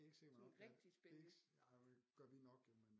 Sådan rigtig spændende